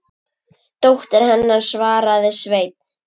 Dóttir hennar, svaraði Sveinn.